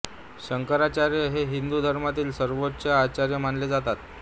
शंकराचार्य हे हिंदू धर्मातील सर्वोच्च आचार्य मानले जातात